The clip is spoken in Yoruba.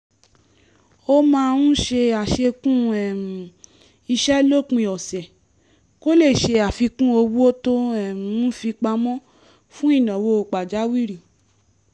ó máa ń ṣe àṣekún um iṣẹ́ lópin ọ̀sẹ̀ kó lè ṣe àfikún owó tó um ń fi pamọ́ fún ìnáwó pàjáwìrì